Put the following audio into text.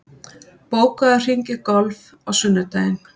, bókaðu hring í golf á sunnudaginn.